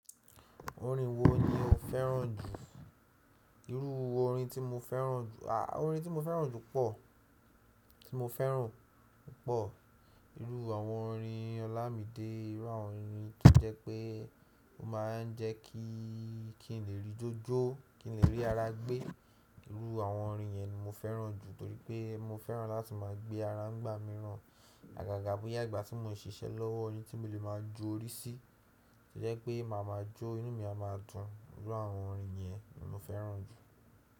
Orin wo ni o fẹ́ràn jù? Iru orin ti moferan ju ah Orin tí mo fẹ́ràn jù pọ̀, tí mo fẹ́ràn pọ̀, irú àwọn orin ọlámídé, irú àwọn orin tó jẹ́ pé ó máa ń jẹ́ kí n lè rí jójó, kí n lè rí ara gbé. Irú àwọn orin yẹn ni mo fẹ́ràn jù torí pé mo fẹ́ràn láti má a gbé ara ń gbà mí rán. Àgàgà bóyá ìgbà tí mo ǹ ṣiṣẹ́ lọ́wọ́, ni tí mo lè má a ju orí sí, tí jẹ́ pé màá máa jó, inú mi a máa dùn. Irú àwọn orin yẹn ni mo fẹ́ràn jù.